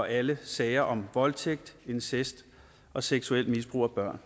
alle sager om voldtægt incest og seksuelt misbrug af børn